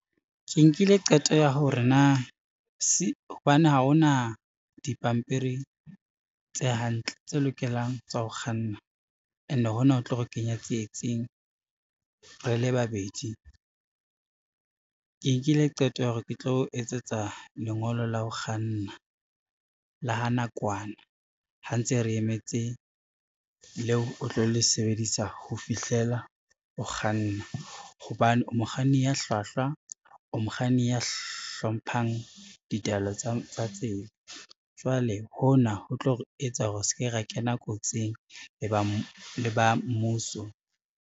Ke nkile qeto ya hore na hobane ha ona dipampiri tse hantle, tse lokelang tsa ho kganna ene hona ho tlo re kenya tsietsing re le babedi. Ke nkile qeto ya hore ke tlo etsetsa lengolo la ho kganna la ha nakwana, ha ntse re emetse leo o tlo le sebedisa ho fihlela o kganna, hobane mokganni ya hlwahlwa, o mokganni ya hlomphang ditaelo tsa tsela. Jwale hona ho tlo etsa hore re se ke ra kena kotsing le ba mmuso.